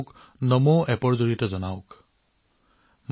আপুনি নমো এপৰ জৰিয়তে তেওঁলোকৰ তথ্য মোৰ সৈতে ভাগ বতৰা কৰিব পাৰে